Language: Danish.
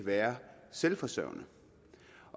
være selvforsørgende